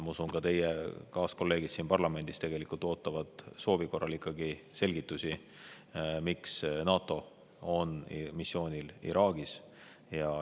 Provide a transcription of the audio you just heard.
Ma usun, et ka teie kaaskolleegid siin parlamendis tegelikult ootavad ja soovivad selgitusi, miks NATO on missioonil Iraagis.